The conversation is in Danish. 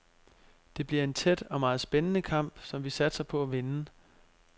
Det bliver en tæt og meget spændende kamp, som vi satser på at vinde.